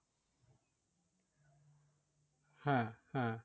হ্যাঁ হ্যাঁ